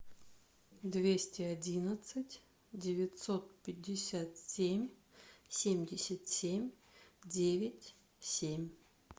двести одиннадцать девятьсот пятьдесят семь семьдесят семь девять семь